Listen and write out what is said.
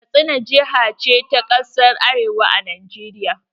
Katsina jihar ce ta kasan arewa a Najeriya